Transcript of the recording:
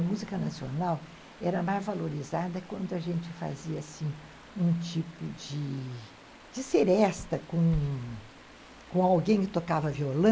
A música nacional era mais valorizada quando a gente fazia um tipo de... de seresta com alguém que tocava violão.